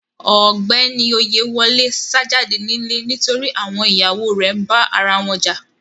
Ọgbẹni Oyèwòlè sá jàdé nilẹ̀ nítorí àwọn iyàwọ rè nbá arawọn jà.